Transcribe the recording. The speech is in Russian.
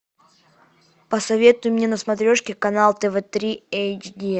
посоветуй мне на смотрешке канал тв три эйч ди